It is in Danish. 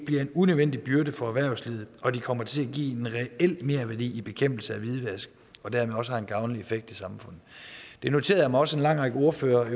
bliver en unødvendig byrde for erhvervslivet og at de kommer til at give en reel merværdi i bekæmpelsen af hvidvask og dermed også har en gavnlig effekt i samfundet jeg noterede mig også at en lang række ordførere